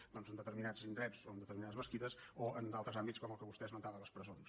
doncs en determinats indrets o en determinades mesquites o en d’altres àmbits com el que vostè esmentava de les presons